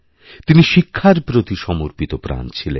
তিনি শিক্ষার প্রতি সমর্পিত প্রাণ ছিলেন